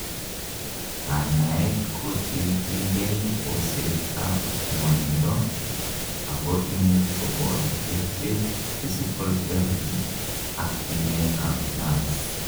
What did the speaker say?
kanyaet kokilchingei boset ab ngwonindo, ako imuch koboto kerichek, physical therapy ak timet ab nerves